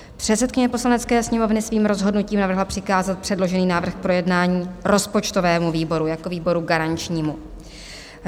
Předsedkyně Poslanecké sněmovny svým rozhodnutím navrhla přikázat předložený návrh k projednání rozpočtovému výboru jako výboru garančnímu.